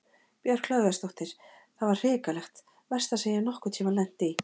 Björk Hlöðversdóttir: Það var hrikalegt, versta sem ég hef nokkur tímann lent í?